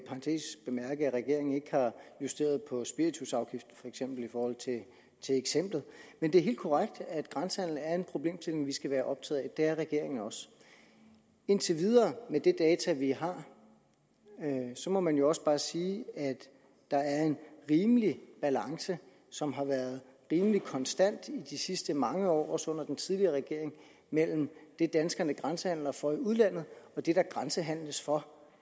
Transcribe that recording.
regeringen ikke har justeret på spiritusafgiften for eksempel i forhold til eksemplet men det er helt korrekt at grænsehandelen er en problemstilling vi skal være optaget af det er regeringen også indtil videre med de data vi har må man jo også bare sige at der er en rimelig balance som har været rimelig konstant i de sidste mange år også under den tidligere regering mellem det danskerne grænsehandler for i udlandet og det der grænsehandles for